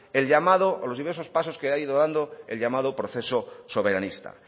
el llamado o los diversos pasos que ha ido dando el llamado proceso soberanista